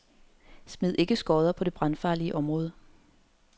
Smid ikke skodder på det brandfarlige område.